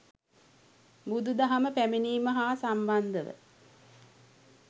බුදුදහම පැමිණීම හා සම්බන්ධව